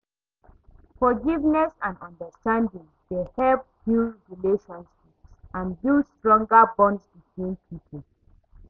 Forgiveness and understanding dey help heal relationships and build stronger bonds between people.